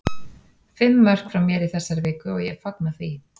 Fimm mörk frá mér í þessari viku og ég fagna því.